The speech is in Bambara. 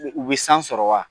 U bɛ san sɔrɔ wa